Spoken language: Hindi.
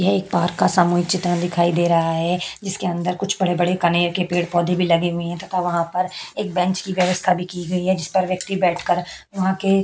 यह एक पार्क का सामूहिक चित्र दिखाई दे रहा है जिसके अंदर कुछ बड़े बड़े कनेर के पेड़ पौधे लगे हुए है तथा वहाँ पर एक बेंच की भी व्यवस्थ की गई है जिस पर व्यक्ति बैठ कर वहाँ के --